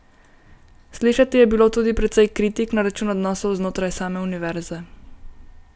Slišati je bilo tudi precej kritik na račun odnosov znotraj same univerze.